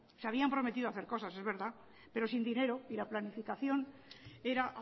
se habían prometido hacer cosas es verdad pero sin dinero y la planificaciónera